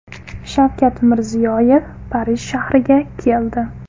Shavkat Mirziyoyev Parij shahriga keldi.